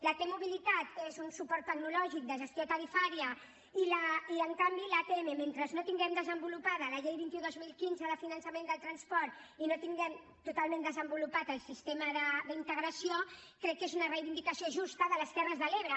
la t mobilitat és un suport tecnològic de gestió tarifària i en canvi l’atm mentre no tinguem desenvolupada la llei vint un dos mil quinze de finançament del transport i no tinguem totalment desenvolupat el sistema d’integració crec que és una reivindicació justa de les terres de l’ebre